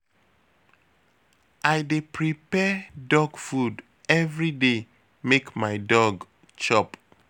I dey prepare dog food everyday make my dog chop.